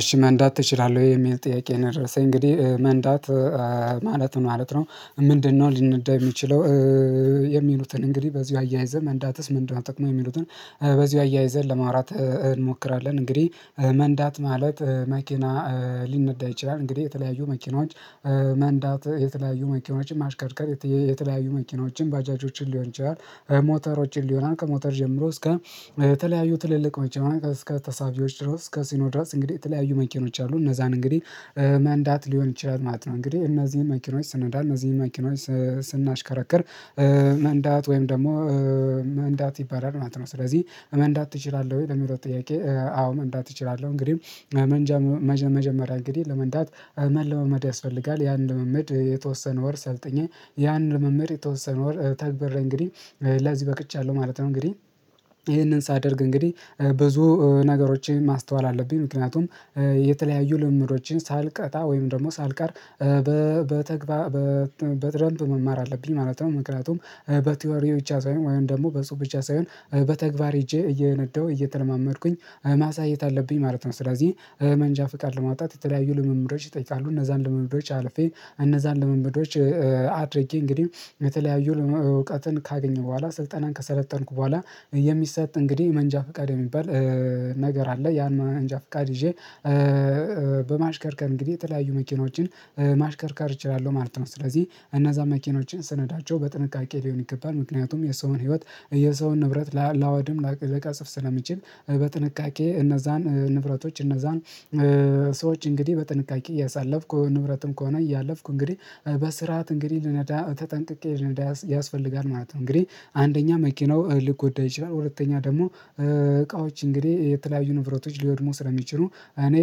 እሺ መንዳት ትችላለሁ ወይ? የሚል ጥያቄ ነው የደረሰኝ እንግዲህ መንዳት ማለት ምን ነው ምንድነው ሊነዳ የሚችለው የሚሉትን እንግዲህ በዚሁ አያይዘን መንዳትስ መንዳት ጥቅሙ የሚሉትን በዚሁ አያይዘን ለማውራት እንሞክራለን። እንግዲህ መንዳት ማለት መኪና ሊነዳ ይችላል። እንግዲህ የተለያዩ መኪናዎች መንዳት የተለያዩ መኪናዎችን ማሽከርከር የተለያዩ መኪኖችን፣ ባጃጆችን ሊሆን ይችላል ሞተሮችን ሊሆን ከሞተር ጀምሮ እስከ የተለያዩ ትልልቆች እስከ ተሳቢዎች ድረስ ከሲኖ ድረስ እንግዲህ የተለያዩ መኪኖች አሉ እነዛን እንግዲህ መንዳት ሊሆን ይችላል ማለት ነው። እንግዲህ እነዚህን መኪኖች ስንነዳ እነዚህን መኪኖች ስናሽከረክር መንዳት ወይም ደግሞ መንዳት ይባላል ማለት ነው ስለዚህ መንዳት ትችላለሁ ወይ? የሚለው ጥያቄ አዎ፣ መንዳት እችላለሁ። እንግዲህ መንጀ መጀመሪያ እንግዲህ ለመንዳት መለማመድ ያስፈልጋል። ያንን ልምምድ የተወሰነ ወር ሰልጥ፣ ያንን ልምምድ የተወሰነ ወር ተግበሬ እንግዲህ ለዚህ በቅቻለሁ ማለት ነው። እንግዲህ ይህንን ሳደርግ እንግዲህ ብዙ ነገሮችን ማስተዋል አለብኝ ምክንያቱም የተለያዩ ልምምዶችን ሳልቀጣ ወይም ደግሞ ሳልቀር በተግባር በጥረት መማር አለብኝ ማለት ነው ምክንያቱም በቲዎሪ ብቻ ሳይሆን ወይም ደግሞ በጽሁፍ ብቻ ሳይሆን በተግባር ሄጄ እየነዳሁ እየተለማመድኩኝ ማሳየት አለብኝ ማለት ነው ስለዚህ መንጃ ፍቃድ ለማውጣት የተለያዩ ልምምዶች ይጠይቃሉ እነዛን ልምምዶች አልፌ እነዛን ልምምዶች አድርጌ እንግዲህ በተለያዩ እውቀትን ካገኘሁ በኋላ ስልጠናን ከሰለጠንኩ በኋላ የሚሰጥ እንግዲህ መንጃ ፍቃድ የሚባል ነገር አለ። ያን መንጃ ፍቃድ ይዤ በማሽከርከር ቀን እንግዲህ የተለያዩ መኪኖችን ማሽከርካር እችላለሁ ማለት ነው ስለዚህ እነዛ መኪኖችን ስነዳቸው በጥንቃቄ ሊሆን ይገባል ምክንያቱም የሰውን ህይወት የሰውን ንብረት ላወድም፣ ለቀጸፍ ስለሚችል በጥንቃቄ እነዛን ንብረቶች እነዛን ሰዎች እንግዲህ በጥንቃቄ እያሳለፍኩ ንብረትም ከሆነ እያለፍኩ እንግዲህ በስርዓት እንግዲህ ልነዳ ተጠንቅቄ ልነዳ ያስፈልጋል ማለት ነው። እንግዲህ አንደኛ መኪናው ሊጎዳ ይችላል፣ ሁለተኛ ደግሞ እቃዎች እንግዲህ የተለያዩ ንብረቶች ሊወድሙ ስለሚችሉ እኔ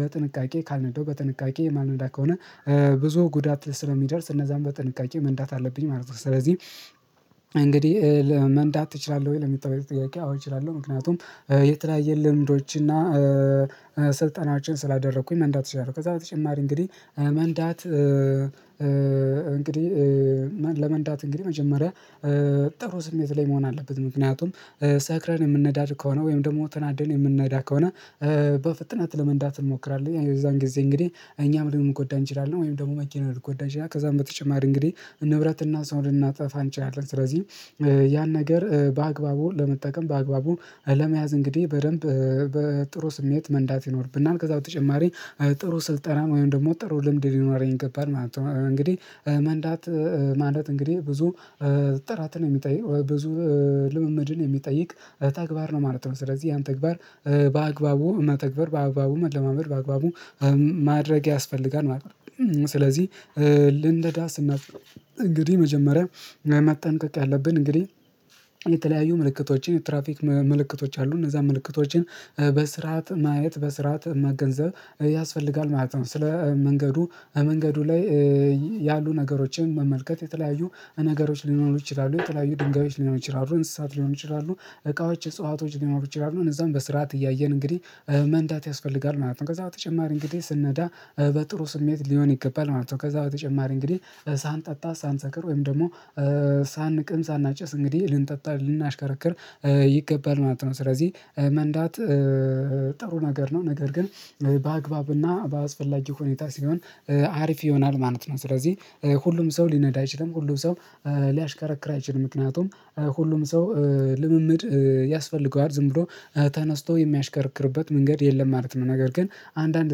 በጥንቃቄ ካልነዳው በጥንቃቄ የማልነዳ ከሆነ ብዙ ጉዳት ስለሚደርስ እነዛን በጥንቃቄ መንዳት አለብኝ ማለት ነው ስለዚህ እንግዲህ መንዳት እችላለሁ ወይ? ለሚለው ጥያቄ አዎ፣ እችላለሁ ምክንያቱም የተለያየ ልምዶች እና ስልጠናችን ስላደረኩኝ መንዳት እችላለው። ከዛ በተጨማሪ እንግዲህ መንዳት እንግዲህ ለመንዳት እንግዲህ መጀመሪያ ጥሩ ስሜት ላይ መሆን አለበት ምክንያቱም ሰክረን የምንነዳድ ከሆነ ወይም ደግሞ ተናደን የምንነዳ ከሆነ በፍጥነት ለመንዳት እንሞክራለን። የዛን ጊዜ እንግዲህ እኛም ልንጎዳ እንችላለን ወይም ደግሞ መኪና ልንጎዳ ይችላል። ከዛም በተጨማሪ እንግዲህ እነ ንብረት እና ሰው ልናጠፋ እንችላለን ስለዚህ ያን ነገር በአግባቡ ለመጠቀም፣ በአግባቡ ለመያዝ እንግዲህ በደንብ በጥሩ ስሜት መንዳት ይኖርብናል። ከዛ በተጨማሪ ጥሩ ስልጠና ወይም ደግሞ ጥሩ ልምድ ሊኖር ይገባል ማለት ነው። እንግዲህ መንዳት ማለት እንግዲህ ብዙ ጥራትን የሚጠይቅ ብዙ ልምምድን የሚጠይቅ ተግባር ነው ማለት ነው። ስለዚህ ያን ተግባር በአግባቡ መተግበር በአግባቡ መለማመድ በአግባቡ ማድረግ ያስፈልጋል ማለት ነው ስለዚህ ልንነዳ ስናልፍ እንግዲህ መጀመሪያ መጠንቀቅ ያለብን እንግዲህ የተለያዩ ምልክቶችን የትራፊክ ምልክቶች አሉ። እነዛን ምልክቶችን በስርዓት ማየት፣ በስርዓት መገንዘብ ያስፈልጋል ማለት ነው። ስለ መንገዱ መንገዱ ላይ ያሉ ነገሮችን መመልከት የተለያዩ ነገሮች ሊሆኑ ይችላሉ። የተለያዩ ድንጋዮች ሊሆኑ ይችላሉ፣ እንስሳት ሊሆን ይችላሉ፣ እቃዎች፣ እጽዋቶች ሊሆኑ ይችላሉ። እነዛን በስርዓት እያየን እንግዲህ መንዳት ያስፈልጋል ማለት ነው። ከዛ በተጨማሪ እንግዲህ ስንነዳ በጥሩ ስሜት ሊሆን ይገባል ማለት ነው። ከዛ በተጨማሪ እንግዲህ ሳንጠጣ፣ ሳንሰክር ወይም ደግሞ ሳንቅም፣ ሳናጨስ እንግዲህ ልንጠጣ ልናሽከረክር ይገባል ማለት ነው ስለዚህ መንዳት ጥሩ ነገር ነው ነገር ግን በአግባብና በአስፈላጊ ሁኔታ ሲሆን አሪፍ ይሆናል ማለት ነው። ስለዚህ ሁሉም ሰው ሊነዳ አይችልም፣ ሁሉም ሰው ሊያሽከረክር አይችልም ምክንያቱም ሁሉም ሰው ልምምድ ያስፈልገዋል ዝም ብሎ ተነስቶ የሚያሽከርክርበት መንገድ የለም ማለት ነው ነገር ግን አንዳንድ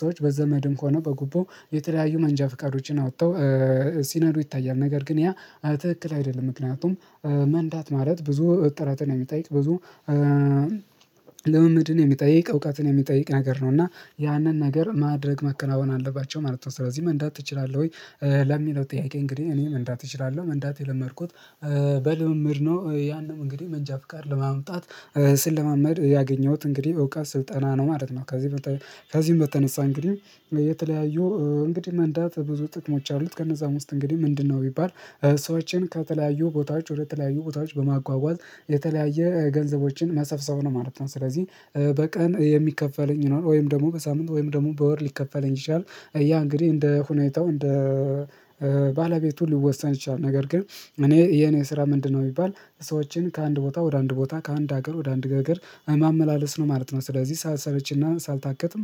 ሰዎች በዘመድም ከሆነ በጉቦ የተለያዩ መንጃ ፍቃዶችን አውጥተው ሲነሩ ይታያል ነገር ግን ያ ትክክል አይደለም ምክንያቱም መንዳት ማለት ብዙ ጥረትን የሚጠይቅ ብዙ ልምምድን የሚጠይቅ፣ እውቀትን የሚጠይቅ ነገር ነው እና ያንን ነገር ማድረግ መከናወን አለባቸው ማለት ነው ስለዚህ መንዳት ትችላለህ ወይ? ለሚለው ጥያቄ እንግዲህ እኔም መንዳት እችላለሁ። መንዳት የለመድኩት በልምምድ ነው ያንንም እንግዲህ መንጃ ፍቃድ በማምጣት ስለማመድ ያገኘሁት እንግዲህ እውቀት ስልጠና ነው። ማለት ነው ከዚህ ከዚህም በተነሳ እንግዲህ የተለያዩ እንግዲህ መንዳት ብዙ ጥቅሞች አሉት። ከነዛም ውስጥ እንግዲህ ምንድነው ቢባል ሰዎችን ከተለያዩ ቦታዎች ወደ ተለያዩ ቦታዎች በማጓጓዝ የተለያየ ገንዘቦችን መሰብሰብ ነው ማለት ነው ስለዚህ በቀን የሚከፈለኝ ነው ወይም ደግሞ በሳምንት ወይም ደግሞ በወር ሊከፈለኝ ይችላል። ያ እንግዲህ እንደ ሁኔታው እንደ ባለቤቱ ሊወሰን ይችላል ነገር ግን እኔ የኔ ስራ ምንድነው ቢሚባል ሰዎችን ከአንድ ቦታ ወደ አንድ ቦታ ከአንድ ሀገር ወደ አንድ ገገር ማመላለስ ነው ማለት ነው ስለዚህ ሳልሰለችና ሳልታክት